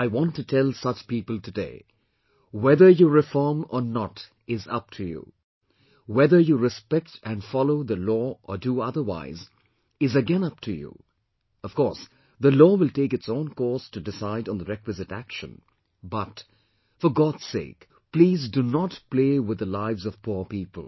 I want to tell such people today whether you reform or not is up to you, whether you respect and follow the law or do otherwise is again up to you; of course, the law will take its own course to decide on the requisite action; but, for God's sake, please do not play with the lives of poor people